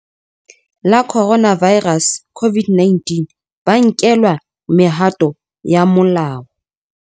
La Coronavi rus COVID-19 ba nkelwa mehato ya molao.